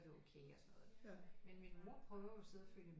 Er det okay og sådan noget ikke men min mor prøver jo at sidde og følge